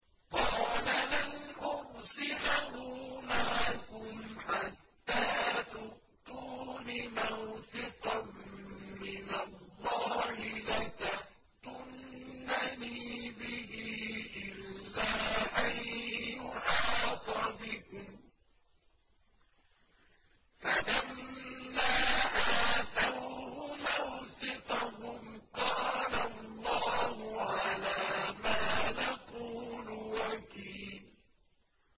قَالَ لَنْ أُرْسِلَهُ مَعَكُمْ حَتَّىٰ تُؤْتُونِ مَوْثِقًا مِّنَ اللَّهِ لَتَأْتُنَّنِي بِهِ إِلَّا أَن يُحَاطَ بِكُمْ ۖ فَلَمَّا آتَوْهُ مَوْثِقَهُمْ قَالَ اللَّهُ عَلَىٰ مَا نَقُولُ وَكِيلٌ